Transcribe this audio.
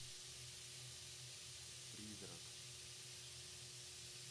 призрак